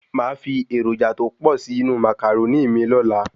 Máa fi èròjà tó pò sí inú Màcàrónì mi lóla